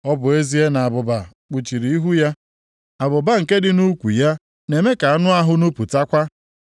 “Ọ bụ ezie na abụba kpuchiri ihu ya, abụba nke dị nʼukwu ya na-eme ka anụ ahụ nupụtakwa,